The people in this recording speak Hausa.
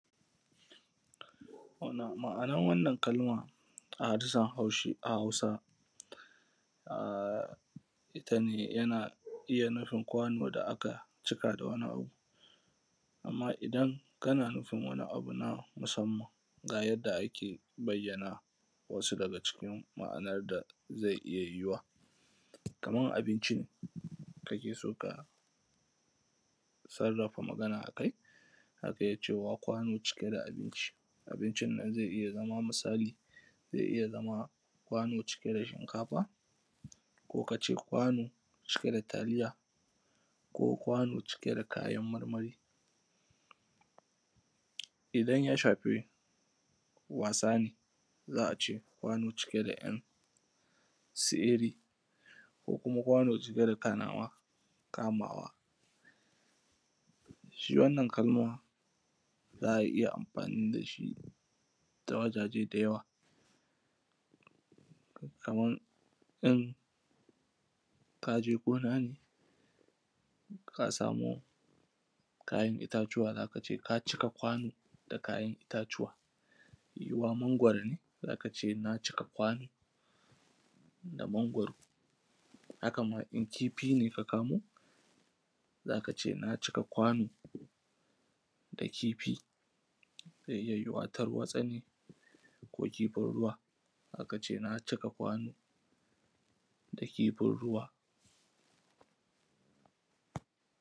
Ma’ana wannan kalmar a harshen Hausa ita ne, yana iya nufin kwano da aka cika da wani abu. Amma idan kana nufin wani abu na musamman, ga yadda ake bayyana wasu daga cikin ma’anar da zai iya yiwuwa kamar abinci kake so ka sarrafa. Magana a kai cewa, kwano cike da abinci. Abincin ma zai iya zama misali, zai iya zama kwano cike da shinkafa. Ko ka ce kwano cike da taliya, ko kwano cike da kayan marmari. Idan ya shafi wasa ne za a ce, kwano da ‘yan su iri ko kuma kwano cike da kayan kamawa. Shi wannan kalma za a iya amfani da shi ta wajaje da yawa, kamar ka ɗan je gona ne ka samu ‘ya’yan itatuwa; za a ce ka cika kwano da kayan itatuwa. Yiwuwa mangwaro ne za ka ce na cika kwano da mangwaro. Haka ma in kifi ne ka kamo za ka ce na cika kwano da kifi. Zai iya yiwuwa Tarwatsa ne, ko kifin ruwa za ka ce na cika kwano da kifin ruwa.